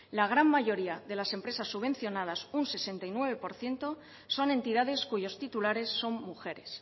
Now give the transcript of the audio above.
la gran mayoría de las empresas subvencionadas un sesenta y nueve por ciento son entidades cuyos titulares son mujeres